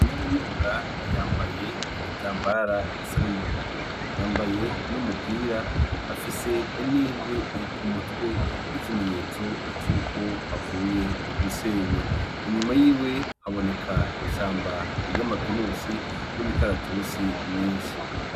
Inarunyonga yambaye igitambara gisa n'umuhondo. Yambaye n'umupira, afise n'inkwi ku mutwe nk'ikimenyetso cuko avuye gusenya. Inyuma yiwe haboneka ishamba ryama pinusi n'imikaratusi myinshi.